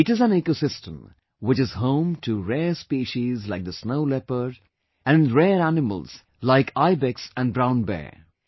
It is an ecosystem which is home to rare species like the snow leopard and rare animals like ibex and brown bears